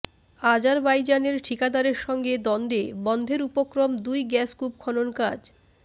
আজারবাইজানের ঠিকাদারের সঙ্গে দ্বন্দ্বে বন্ধের উপক্রম দুই গ্যাসকূপ খনন কাজ